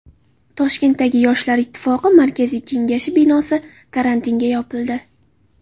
Toshkentdagi Yoshlar ittifoqi markaziy kengashi binosi karantinga yopildi.